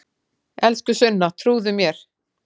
Elsku Sunna, trúðu mér!